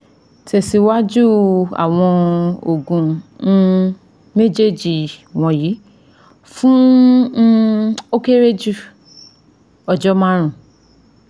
Tẹsiwaju awọn oogun um mejeeji wọnyi fun um o kere ju ọjọ marun